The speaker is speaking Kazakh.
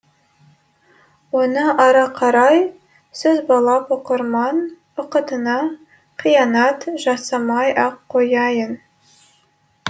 оны ары қарай созбалап оқырман уақытына қиянат жасамай ақ қояйын